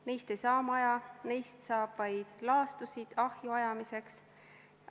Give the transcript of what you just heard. Neist ei saa maja, neist saab vaid laastusid ahju ajamiseks.